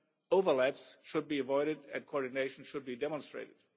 Overlaps should be avoided and coordination should be demonstrated.